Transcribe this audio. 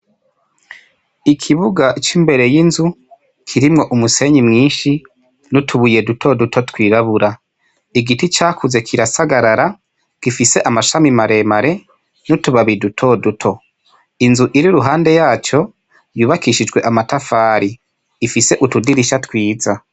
Ni Ikibuga cimbere yinzu kirimwo umusenyi mwinshi nutubuye twirabura .Igiti cakuze kirasagarara gifise amshami maremare yutubabi dutoduto inzu iri iruhande yaco yubakishijwe amatafari ifise utudirisha twiza .